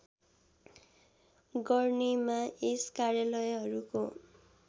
गर्नेमा यस कार्यालयहरूको